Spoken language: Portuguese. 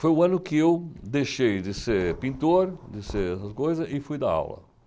Foi o ano que eu deixei de ser pintor, de ser essas coisas, e fui dar aula.